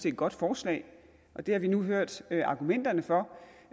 et godt forslag og det har vi nu hørt argumenterne for